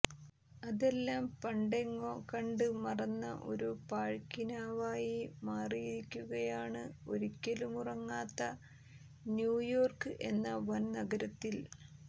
അതെല്ലാം പണ്ടെങ്ങൊ കണ്ട് മറന്ന ഒരു പാഴ്ക്കിനാവായി മാറിയിരിക്കുകയാണ് ഒരിക്കലുമുറങ്ങാത്ത ന്യുയോർക്ക് എന്ന വൻനഗരത്തിൽ